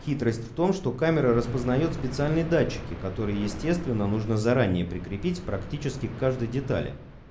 хитрость в том что камера распознаёт специальные датчики которые естественно нужно заранее прикрепить практически к каждый детали